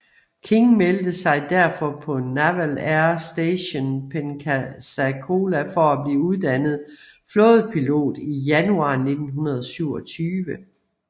King meldte sig derfor på Naval Air Station Pensacola for at blive uddannet flådepilot i januar 1927